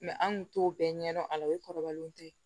an kun t'o bɛɛ ɲɛdɔn a la o ye kɔrɔbalenw tɛ